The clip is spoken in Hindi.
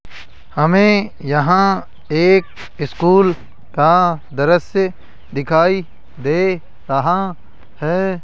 हमे यहां एक स्कूल का दृश्य दिखाई दे रहा है।